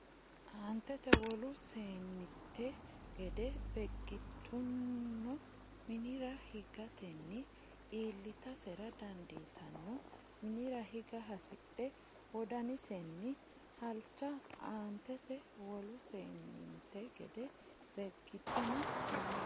Aantete wolu seenninte gede Beeggituno minira higatenni iillitasera dandiitanno minira higa hasidhe wodanisenni halcha Aantete wolu seenninte gede Beeggituno minira.